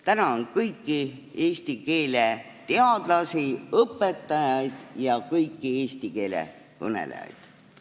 Tänan kõiki eesti keelega tegelevaid teadlasi, õpetajaid ja kõiki eesti keele kõnelejaid.